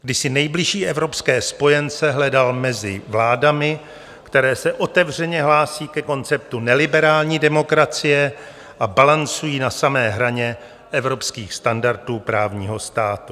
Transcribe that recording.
Kdy si nejbližší evropské spojence hledal mezi vládami, které se otevřeně hlásí ke konceptu neliberální demokracie a balancují na samé hraně evropských standardů právního státu.